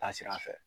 Taa sira fɛ